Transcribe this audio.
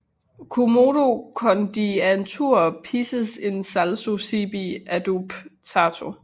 Quomodo condiantur pisces in salso sibi adoptato